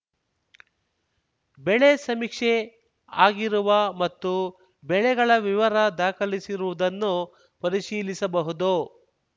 ಬೆಳೆ ಸಮೀಕ್ಷೆ ಆಗಿರುವ ಮತ್ತು ಬೆಳೆಗಳ ವಿವರ ದಾಖಲಿಸಿರುವುದನ್ನು ಪರಿಶೀಲಿಸಬಹುದು